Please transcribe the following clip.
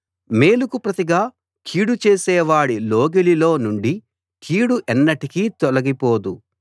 మేలుకు ప్రతిగా కీడు చేసేవాడి లోగిలిలో నుండి కీడు ఎన్నటికీ తొలగిపోదు